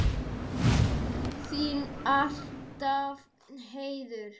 Þín alltaf, Heiður.